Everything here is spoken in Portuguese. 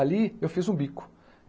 Ali eu fiz um bico.